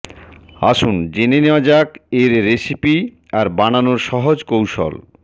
আসুন জেনে নেওয়া যার এর রেসিপি আর বানানোর সহজ কৌশল